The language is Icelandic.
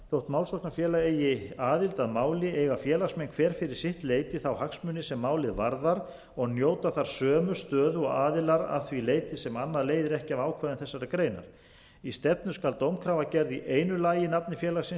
þótt málsóknarfélag eigi aðild að máli eiga félagsmenn hver fyrir sitt leyti þá hagsmuni sem málið varðar og njóta þar sömu stöðu og aðilar að því leyti sem annað leiðir ekki af ákvæðum þessarar greinar í stefnu skal dómkrafa gerð í einu lagi í nafni félagsins